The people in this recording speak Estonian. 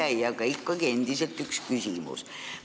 Minul on aga ikkagi üks küsimus.